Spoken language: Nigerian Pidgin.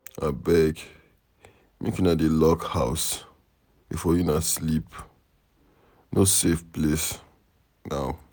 Abeg make una dey lock house before una sleep. No place safe now.